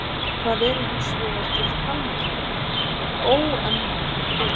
Það eru hinsvegar til talnakerfi með óendanlegum tölum.